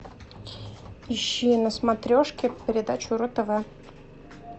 ищи на смотрешке передачу ру тв